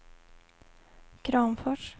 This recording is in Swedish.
Kramfors